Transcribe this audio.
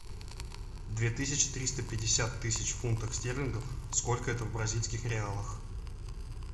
две тысячи триста пятьдесят тысяч фунтов стерлингов сколько это в бразильских реалах